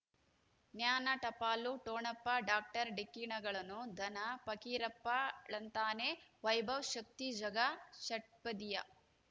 ಜ್ಞಾನ ಟಪಾಲು ಠೊಣಪ ಡಾಕ್ಟರ್ ಢಿಕ್ಕಿ ಣಗಳನು ಧನ ಪಕೀರಪ್ಪ ಳಂತಾನೆ ವೈಭವ್ ಶಕ್ತಿ ಝಗಾ ಷಟ್ಪದಿಯ